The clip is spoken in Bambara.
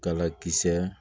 Kalakisɛ